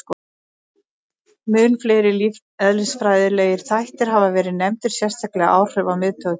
Mun fleiri lífeðlisfræðilegir þættir hafa verið nefndir, sérstaklega áhrif á miðtaugakerfið.